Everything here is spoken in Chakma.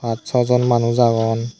pas sow jon manuj agon.